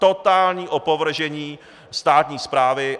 Totální opovržení státní správy.